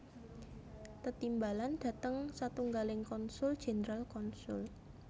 Tetimbalan dhateng satunggaling konsul jenderal konsul